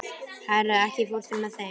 Hera, ekki fórstu með þeim?